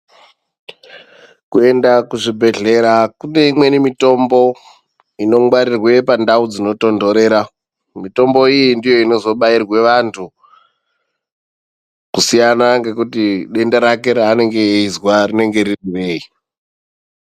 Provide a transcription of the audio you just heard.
Kuenda kuzvibhehlera kune imweni mitombo inongwarirwe pandau dzinotontorera. Mitombo iyi ndiyo inozobairwe vantu kusiyana ngekuti denda rake ranenge eyizwa riri rei.